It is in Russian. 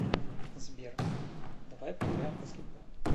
сбер давай поиграем в баскетбол